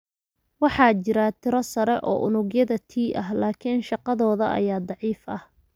Waxaa jira tiro sare oo unugyada T ah, laakiin shaqadooda ayaa daciif ah.